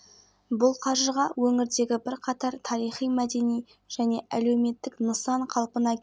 жатырмыз жер-жерлерде аудандарда облыс орталығында халық шығармашылығы орталығының жанына талант жас ақындар